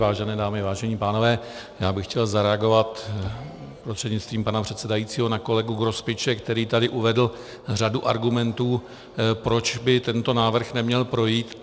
Vážené dámy, vážení pánové, já bych chtěl zareagovat prostřednictvím pana předsedajícího na kolegu Grospiče, který tady uvedl řadu argumentů, proč by tento návrh neměl projít.